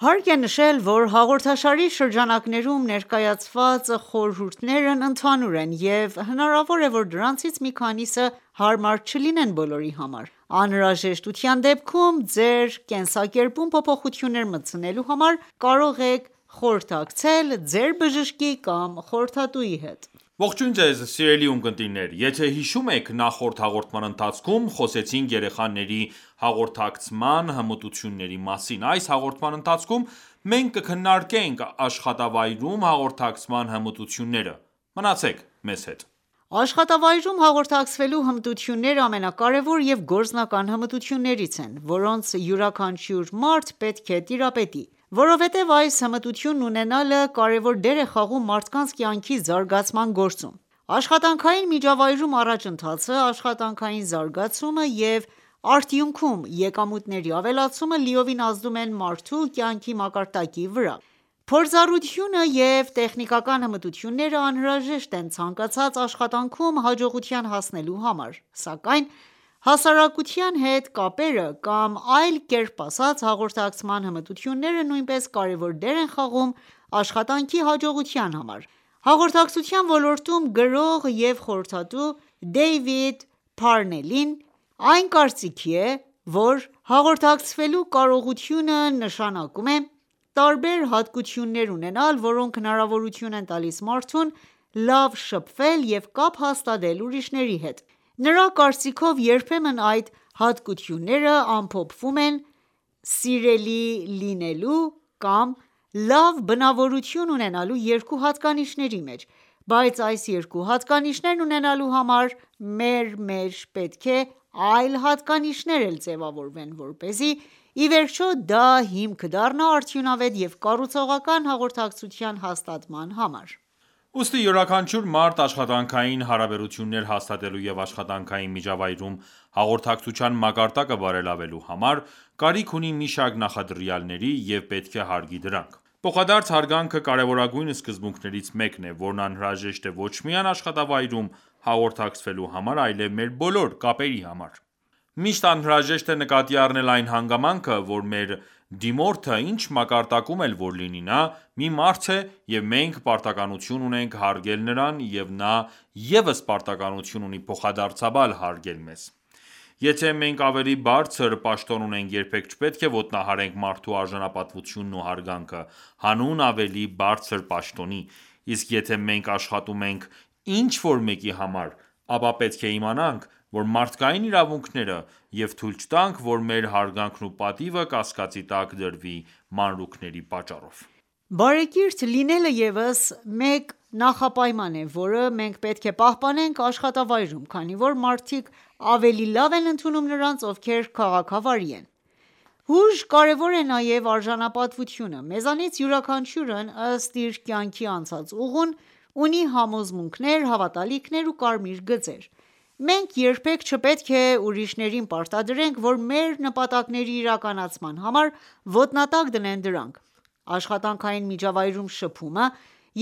Հարկ է նշել, որ հաղորդաշարի շրջանակներում ներկայացված խորհուրդներն ընդհանուր են, և հնարավոր է, որ դրանցից մի քանիսը հարմար չլինեն բոլորի համար: Անհրաժեշտության դեպքում ձեր կենսակերպում փոփոխություններ մտցնելու համար կարող եք խորհրդակցել ձեր բժշկի կամ խորհրդատուի հետ: Ողջույն Ձեզ սիրելի ունկնդիրներ։ Եթե հիշում եք, նախորդ հաղորդման ընթացքում խոսեցինք երեխաների հաղորդակցման հմտությունների մասին:Այս հաղորդման ընթացքում մենք կքննարկենք աշխատավայրում հաղորդակցման հմտությունները:Մնացեք մեզ հետ: Աշխատավայրում հաղորդակցվելու հմտությունները ամենակարևոր և գործնական հմտություններից են, որոնց յուրաքանչյուր մարդ պետք է տիրապետի, որովհետև այս հմտությունն ունենալը կարևոր դեր է խաղում մարդկանց կյանքի զարգացման գործում:Աշխատանքային միջավայրում առաջընթացը, աշխատանքային զարգացումը և արդյունքում եկամուտների ավելացումը լիովին ազդում են մարդու կյանքի մակարդակի վրա։ Փորձառությունը և տեխնիկական հմտությունները անհրաժեշտ են ցանկացած աշխատանքում հաջողության հասնելու համար, սակայն հասարակայնության հետ կապերը կամ այլ կերպ ասած՝ հաղորդակցման հմտությունները նույնպես կարևոր դեր են խաղում աշխատանքի հաջողության համար։ Հաղորդակցության ոլորտում գրող և խորհրդատու Դեյվիդ Փարնելի կարծիքով՝ հաղորդակցվելու կարողությունը նշանակում է «տարբեր հատկություններ ունենալ, որոնք հնարավորություն են տալիս մարդուն լավ շփվել և կապ հաստատել ուրիշների հետ»:Նրա կարծիքով՝ «երբեմն այդ հատկությունները ամփոփվում են «սիրելի լինելու» կամ «լավ բնավորություն ունենալու» երկու հատկանիշների մեջ։ Բայց այս երկու հատկանիշներն ունենալու համար մեր մեջ պետք է այլ հատկանիշներ էլ ձեւավորվեն, որպեսզի, ի վերջո, դա հիմք դառնա արդյունավետ եւ կառուցողական հաղորդակցություն հաստատելու համար»։ Ուստի յուրաքանչյուր մարդ աշխատանքային հարաբերություններ հաստատելու և աշխատանքային միջավայրում հաղորդակցության մակարդակը բարելավելու համար կարիք ունի մի շարք նախադրյալների և պետք է հարգի դրանք: Փոխադարձ հարգանքը կարևորագույն սկզբունքներից մեկն է, որն անհրաժեշտ է ոչ միայն աշխատավայրում հաղորդակցվելու համար, այլև մեր բոլոր կապերի համար:Միշտ անհրաժեշտ է նկատի առնել այն հանգամանքը ,որ մեր դիմորդը ինչ մակարդակում էլ որ լինի նա ,մի մարդ է և մենք պարտականություն ունենք հարգել նրան և նա ևս պարտականություն ունի փոխադարձաբար հարգել մեզ:Եթե ​​մենք ավելի բարձր պաշտոն ունենք, երբեք չպետք է ոտնահարենք մարդու արժանապատվությունն ու հարգանքը՝ հանուն ավելի բարձր պաշտոնի ,իսկ եթե մենք աշխատում ենք ինչ-որ մեկի համար, ապա պետք է իմանանք մեր մարդկային իրավունքները և թույլ չտանք, որ մեր հարգանքն ու պատիվը կասկածի տակ դրվի մանրուքների պատճառով։ Բարեկիրթ լինելը ևս մեկ նախապայման է, որը մենք պետք է պահպանենք աշխատավայրում, քանի որ մարդիկ ավելի լավ են ընդունում նրանց, ովքեր քաղաքավարի են:Հույժ կարևոր է նաև արժանապատվությունը: Մեզանից յուրաքանչյուրն ըստ իր կյանքի անցած ուղուն, ունի համոզմունքներ, հավատալիքներ ու կարմիր գծեր։ Մենք երբեք չպետք է ուրիշներին պարտադրենք որ մեր նպատակների իրականացման համար ,ոտնատակ դնեն դրանք: Աշխատանքային միջավայրում շփումը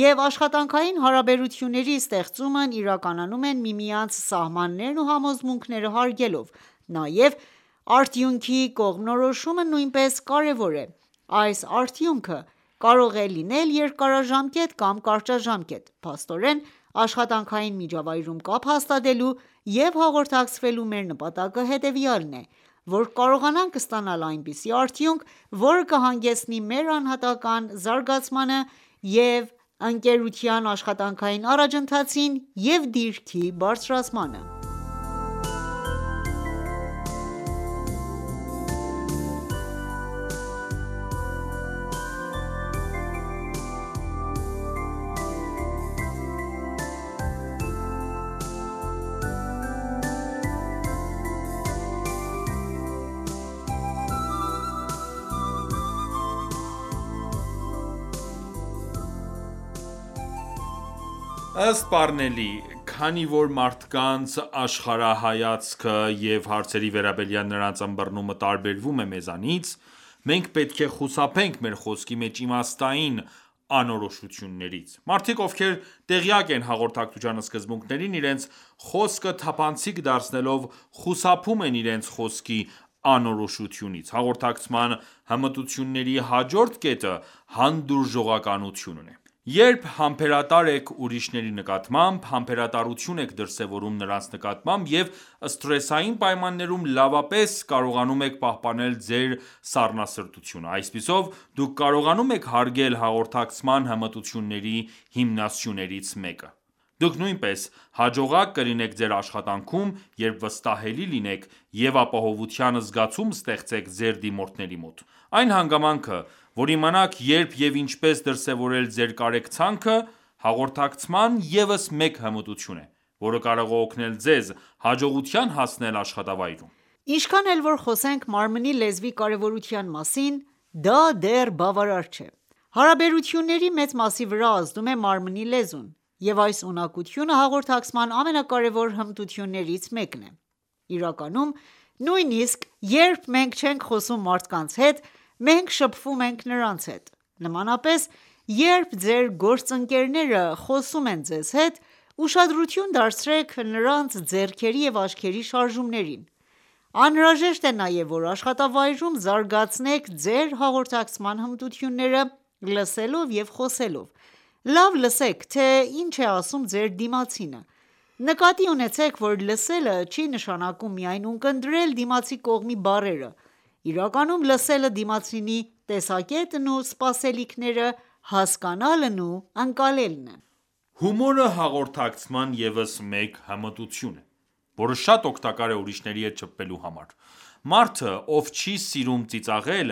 և աշխատանքային հարաբերությունների ստեղծումն իրականանում են միմյանց սահմաններն ու համոզմունքները հարգելով:Նաև, արդյունքի կողմնորոշումը նույնպես կարևոր է, այս արդյունքը կարող է լինել երկարաժամկետ կամ կարճաժամկետ:Փաստորեն, աշխատանքային միջավայրում կապ հաստատելու և հաղորդակցվելու մեր նպատակը հետևյալն է,որ կարողանանք ստանալ այնպիսի արդյունք, որը կհանգեցնի մեր անհատական ​​զարգացմանը և ընկերության աշխատանքային առաջընթացին և դիրքի բարձրացմանը: Մարդիկ բարեկիրթ անձանց խոսքերը ավելի լավ են ընդունում Ըստ Պարնելի, քանի որ մարդկանց աշխարհայացքը և հարցերի վերաբերյալ նրանց ըմբռնումը տարբերվում է մեզանից, մենք պետք է խուսափենք մեր խոսքի մեջ իմաստային անորոշություններից։ Մարդիկ, ովքեր տեղյակ են հաղորդակցության սկզբունքներին, իրենց խոսքը թափանցիկ դարձնելով խուսափում են իրենց խոսքի անորոշությունից:Հաղորդակցման հմտությունների հաջորդ կետը հանդուրժողականությունն է: Երբ համբերատար եք ուրիշների նկատմամբ, համբերատարություն եք դրսևորում նրանց նկատմամբ և սթրեսային պայմաններում լավապես կարողանում եք պահպանել ձեր սառնասրտությունը, այսպիսով, դուք կարողանում եք հարգել հաղորդակցման հմտությունների հիմնասյուներից մեկը: Դուք նույնպես հաջողակ կլինեք ձեր աշխատանքում, երբ վստահելի լինեք և ապահովության զգացում ստեղծեք ձեր դիմորդների մոտ:Այն հանգամանքը ,որ իմանաք երբ և ինչպես դրսևորել ձեր կարեկցանքը, հաղորդակցման ևս մեկ հմտություն է, որը կարող է օգնել ձեզ՝ հաջողության հասնել աշխատավայրում: Ինչքան էլ խոսենք մարմնի լեզվի կարևորության մասին, դա դեռ բավարար չէ:Հարաբերությունների մեծ մասի վրա ազդում է մարմնի լեզուն, և այս ունակությունը հաղորդակցման ամենակարևոր հմտություններից մեկն է:Իրականում, նույնիսկ երբ մենք չենք խոսում մարդկանց հետ, մենք շփվում ենք նրանց հետ։ Նմանապես, երբ ձեր գործընկերը խոսում է ձեզ հետ, ուշադրություն դարձրեք նրա ձեռքերի և աչքերի շարժումներին:Անհրաժեշտ է նաև ,որ աշխատավայրում զարգացնեք ձեր հաղորդակցման հմտությունները՝ լսելով և խոսելով:Լավ լսեք, թե ինչ է ասում Ձեր դիմացինը։ Նկատի ունեցեք որ լսելը ,չի նշանակում միայն ունկնդրել դիմացի կողմի բառերը, իրականում լսելը դիմացինի տեսակետն ու սպասելիքները հասկանալն ու ընկալելն է։ Հումորը հաղորդակցման ևս մեկ հմտություն է, որը շատ օգտակար է ուրիշների հետ շփվելու համար:Մարդը, ով չի սիրում ծիծաղել,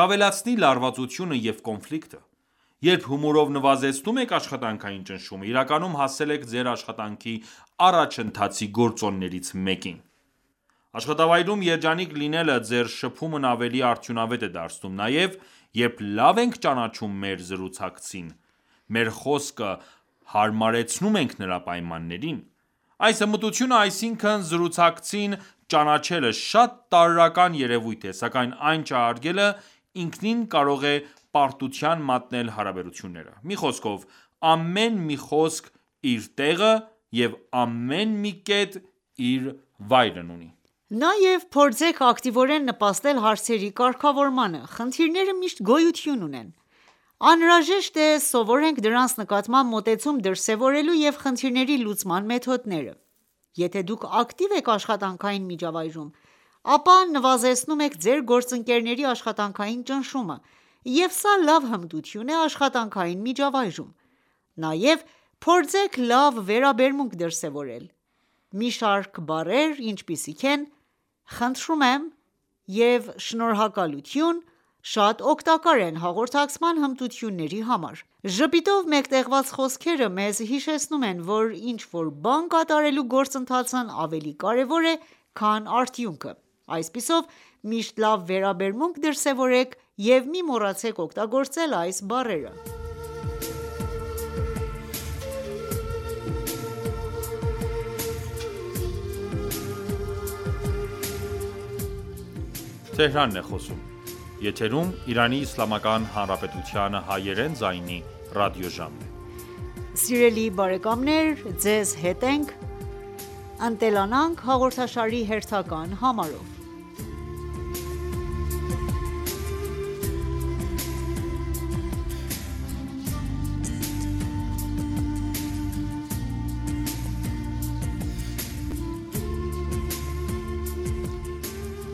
կավելացնի լարվածությունը և կոնֆլիկտը:Երբ հումորով նվազեցնում եք աշխատանքային ճնշումը, իրականում հասել եք ձեր աշխատանքի առաջընթացի գործոններից մեկին։ Աշխատավայրում երջանիկ լինելը ձեր շփումն ավելի արդյունավետ է դարձնում։ Նաև, երբ լավ ենք ճանաչում մեր զրուցակցին, մեր խոսքը հարմարեցնում ենք նրա պայմաններին:Այս հմտությունը ,այսինքն զրուցակցին ճանաչելը, շատ տարրական երևույթ է ,սակայն այն չհարգելը ,ինքնին կարող է պարտության մատնել հարաբերությունները: Մի խոսքով ամեն մի խոսք իր տեղը և ամեն մի կետ իր վայրն ունի: Նաև փորձեք ակտիվորեն նպաստել հարցերի կարգավորմանը: Խնդիրները միշտ գոյություն ունեն: Անհրաժեշտ է սովորենք դրանց նկատմամբ մոտեցում դրսևորելու և խնդիրների լուծման մեթոդները:Եթե ​​դուք ակտիվ եք աշխատանքային միջավայրում, ապա նվազեցնում եք ձեր գործընկերների աշխատանքային ճնշումը, և սա լավ հմտություն է աշխատանքային միջավայրում:Նաև, փորձեք լավ վերաբերմունք դրսևորել: Մի շարք բառեր ինչպիսիք են՝խնդրում եմ և շնորհակալություն շատ օգտակար են հաղորդակցման հմտությունների համար:Ժպիտով մեկտեղված խոսքերը մեզ հիշեցնում են, որ ինչ-որ բան կատարելու գործընթացն ավելի կարևոր է, քան արդյունքը։ Այսպիսով, միշտ լավ վերաբերմունք դրսևորեք և մի մոռացեք օգտագործել այս բառերը: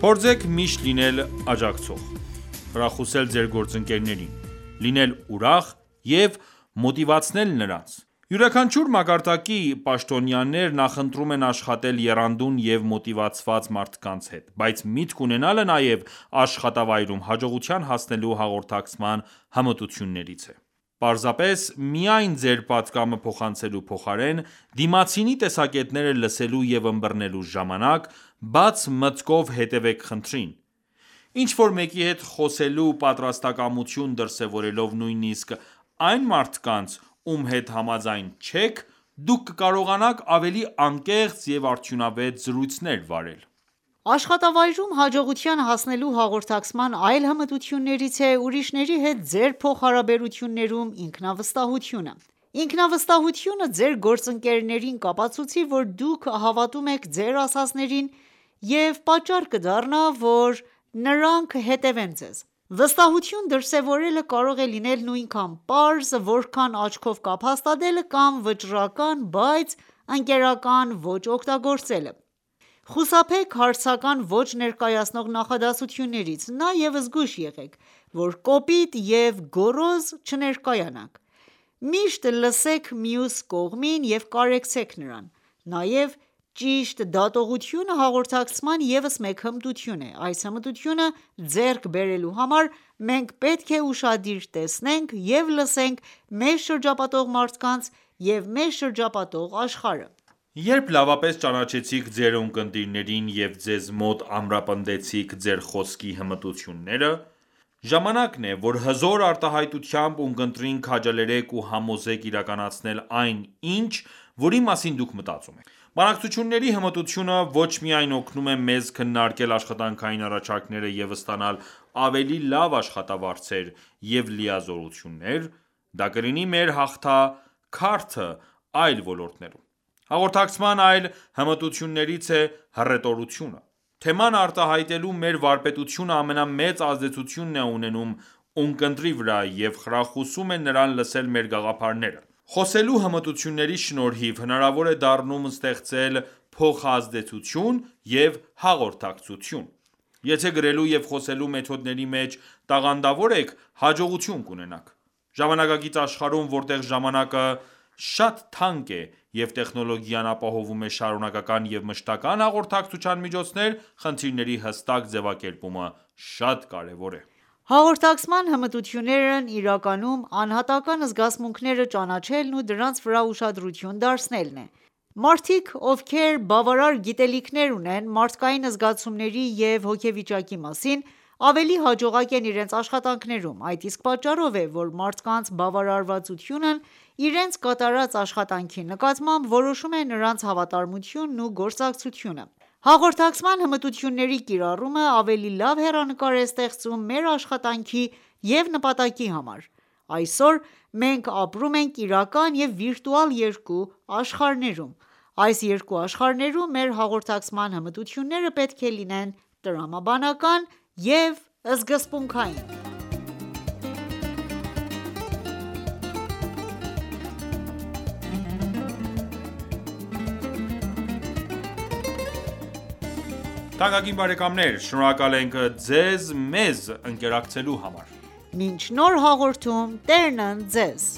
Փորձեք միշտ լինել աջակցող, խրախուսել ձեր գործընկերներին, լինել ուրախ և մոտիվացնել նրանց: Յուրաքանչյուր մակարդակի պաշտոնյաներ նախընտրում են աշխատել եռանդուն և մոտիվացված մարդկանց հետ:Բաց միտք ունենալը նաև աշխատավայրում հաջողության հասնելու հաղորդակցման հմտություններից է:Պարզարես միայն ձեր պատգամը փոխանցելու փոխարեն, դիմացինի տեսակետները լսելու և ըմբռնելու ժամանակ ,բաց մտքով հետևեք խնդրին: Ինչ-որ մեկի հետ խոսելու պատրաստակամություն դրսևորելով, նույնիսկ այն մարդկանց, ում հետ համաձայն չեք, դուք կկարողանաք ավելի անկեղծ և արդյունավետ զրույցներ վարել: Աշխատավայրում հաջողության հասնելու հաղորդակցման այլ հմտություններից է ուրիշների հետ ձեր փոխհարաբերություններում ինքնավստահությունը:Ինքնավստահությունը, ձեր գործընկերներին կապացուցի, որ դուք հավատում եք ձեր ասածներին և պատճառ կդառնա ,որ նրանք հետևեն ձեզ:Վստահություն դրսևորելը կարող է լինել նույնքան պարզ, որքան աչքով կապ հաստատելը կամ վճռական, բայց ընկերական ոճ օգտագործելը:Խուսափեք հարցական ոճ ներկայացնող նախադասություններից: Նաև զգույշ եղեք, որ կոպիտ և գոռոզ չներկայանաք:Միշտ լսեք մյուս կողմին և կարեկցեք նրան։ Նաև ճիշտ դատողությունը հաղորդակցման ևս մեկ հմտություն է:Այս հմտությունը ձեռք բերելու համար մենք պետք է ուշադիր տեսնենք և լսենք մեզ շրջապատող մարդկանց և մեզ շրջապատող աշխարհը: Երբ լավապես ճանաչեցիք ձեր ունկնդիրներին և ձեզ մոտ ամրապնդեցիք ձեր խոսքի հմտությունները, ժամանակն է ,որ հզոր արտահայտությամբ ,ունկնդրին քաջալերեք ու համոզեք իրականացնել այն ինչ ,որի մասին դուք մտածում եք: Բանակցությունների հմտությունը ոչ միայն օգնում է մեզ քննարկել աշխատանքային առաջարկները և ստանալ ավելի լավ աշխատավարձեր և լիազորություններ, դա կլինի մեր հաղթաքարտը այլ ոլորտներում:Հաղորդակցման այլ հմտություններից է հռետորությունը:Թեման արտահայտելու մեր վարպետությունը ամենամեծ ազդեցությունն է ունենում ունկնդրի վրա և խրախուսում է նրան լսել մեր գաղափարները:Խոսելու հմտությունների շնորհիվ հնարավոր է դառնում ստեղծել փոխազդեցություն և հաղորդակցություն:Եթե գրելու և խոսելու մեթոդների մեջ տաղանդավոր եք ,հաջողություն կունենաք:Ժամանակակից աշխարհում, որտեղ ժամանակը շատ թանկ է, և տեխնոլոգիան ապահովում է շարունակական և մշտական ​​հաղորդակցության միջոցներ, խնդիրների հստակ ձեւակերպումը շատ կարեւոր է։ Հաղորդակցման հմտություններն իրականում անհատական ​​զգացմունքները ճանաչելն ու դրանց վրա ուշադրություն դարձնելն են:Մարդիկ, ովքեր բավարար գիտելիքներ ունեն մարդկային զգացումների և հոգեվիճակի մասին, ավելի հաջողակ են իրենց աշխատանքում:Այդ իսկ պատճառով է,որ մարդկանց բավարարվածությունն իրենց կատարած աշխատանքի նկատմամբ որոշում է նրանց հավատարմությունն ու գործակցությունը: Հաղորդակցման հմտությունների կիրառումը ավելի լավ հեռանկար է ստեղծում մեր աշխատանքի և նպատակի համար:Այսօր մենք ապրում ենք իրական և վիրտուալ երկու աշխարհներում։ Այս երկու աշխարհներում մեր հաղորդակցման հմտությունները պետք է լինեն տրամաբանական և սկզբունքային: Շնորհակալ ենք մեզ ընկերակցելու համար: Մինչ նոր հաղորդում Տերն ընդ Ձեզ: